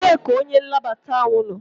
Ebee ka onye nnabata ahụ nọ?